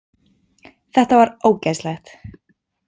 Þetta var ógeðslegt!